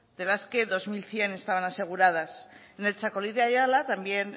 de las que dos mil cien estaban aseguradas en el txakoli de ayala también